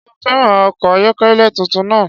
Ṣé ó fẹràn ọkọ̀ ayọ́kẹ́lẹ́ tuntun náà?